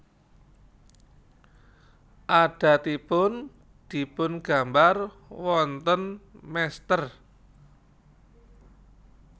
Adatipun dipun gambar wonten mestèr